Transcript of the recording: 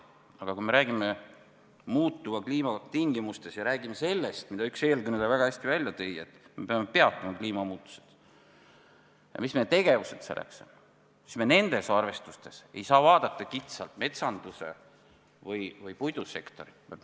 Aga kui me räägime muutuva kliima tingimustest ja räägime sellest, mille üks eelkõneleja väga hästi välja tõi, et me peame peatama kliimamuutused ja mida selleks teha tuleb, siis me ei saa neid arvestusi tehes vaadata kitsalt metsanduse või puidusektorit.